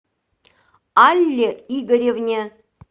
алле игоревне